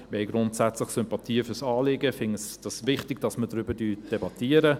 Wir haben grundsätzlich Sympathien für das Anliegen und finden es wichtig, dass wir darüber debattieren.